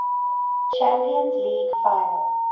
champions league final